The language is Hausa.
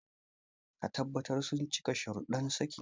Ka tabbatar sun cika shararuddan saki.